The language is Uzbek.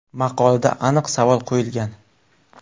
Maqolada aniq savol qo‘yilgan.